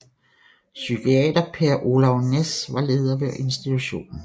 Psykiater Per Olav Næss var leder ved institutionen